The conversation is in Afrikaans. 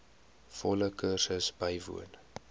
volle kursus bywoon